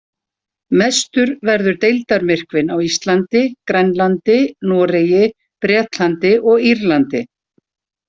Mestur verður deildarmyrkvinn á Íslandi, Grænlandi, Noregi, Bretlandi og Írlandi.